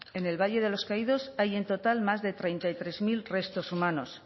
en el valle de los caídos hay más de treinta y tres mil restos humanos